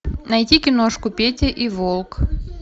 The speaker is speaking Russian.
найти киношку петя и волк